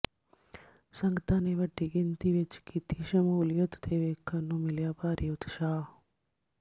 ਸੰਗਤਾਂ ਨੇ ਵੱਡੀ ਗਿਣਤੀ ਵਿਚ ਕੀਤੀ ਸਮੂਲੀਅਤ ਤੇ ਵੇਖਣ ਨੂੰ ਮਿਲਿਆ ਭਾਰੀ ਉਤਸ਼ਾਹ